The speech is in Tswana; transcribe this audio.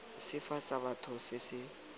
sefe sa batho se se